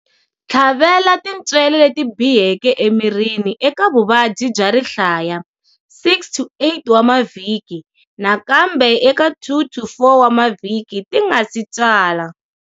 Tlhavela tintswele leti biheke emirini eka vuvabyi bya rihlaya 6-8 wa mavhiki nakambe eka 2-4 wa mavhiki ti nga si tswala.